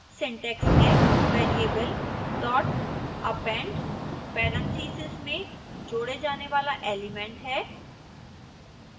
syntax हैः variable dot append parentheses में जोडे जाने वाला एलिमेंट